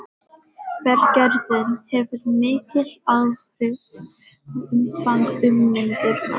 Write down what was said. Berggerðin hefur mikil áhrif á umfang ummyndunar.